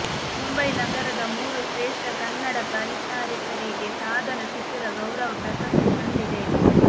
ಮುಂಬೈನಗರದ ಮೂರು ಶ್ರೇಷ್ಠ ಕನ್ನಡ ಪರಿಚಾರಕರಿಗೆ ಸಾಧನ ಶಿಖರ ಗೌರವ ಪ್ರಶಸ್ತಿ ಸಂದಿದೆ